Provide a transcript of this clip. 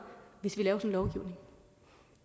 hvis vi laver sådan lovgivning